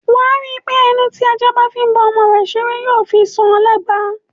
Wà á rí pé ẹnu tí ajá bá fi bá ọmọ rẹ̀ ṣeré ni yóò fi ṣa lẹ́gba.